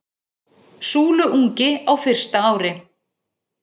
Súluungi á fyrsta ári.